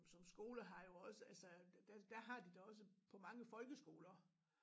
Som skoler har jo også altså der har de da også på mange folkeskoler